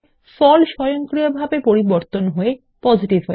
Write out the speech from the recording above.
স্বয়ংক্রিয়ভাবে ফল পরিবর্তন হয়ে পজিটিভ হবে